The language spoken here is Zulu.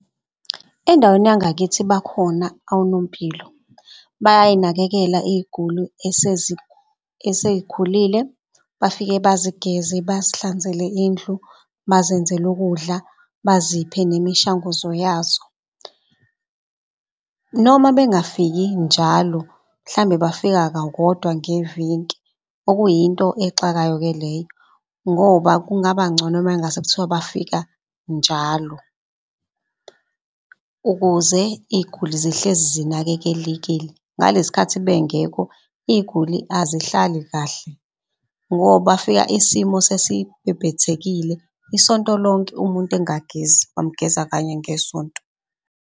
Endaweni yangakithi bakhona onompilo bayay'nakekela iy'guli esey'khulile, bafike bazigeze, bazihlanzele indlu, bazenzele ukudla, baziphe nemishanguzo yazo. Noma bengafiki njalo mhlambe bafika kakodwa ngeviki okuyinto exakayo ke leyo. Ngoba kungaba ngcono mangase kuthiwa bafika njalo ukuze iy'guli zihlezi zinakekelekile. Ngaleskhathi bengekho iy'guli azihlali kahle ngoba bafika isimo sesibhebhethekile. Isonto lonke umuntu engagezi bamgeza kanye ngesonto.